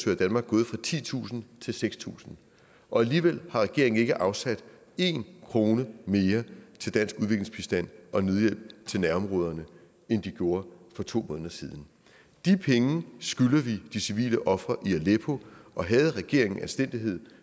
i danmark gået fra titusind til seks tusind og alligevel har regeringen ikke afsat én krone mere til dansk udviklingsbistand og nødhjælp til nærområderne end de gjorde for to måneder siden de penge skylder vi de civile ofre i aleppo og havde regeringen anstændighed